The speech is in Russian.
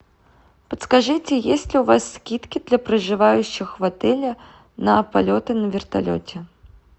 подскажите есть ли у вас скидки для проживающих в отеле на полеты на вертолете